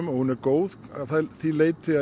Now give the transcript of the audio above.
hún er góð að því leiti að